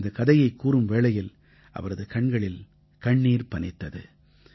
தனது கதையைக் கூறும் வேளையில் அவரது கண்களில் கண்ணீர் பனித்தது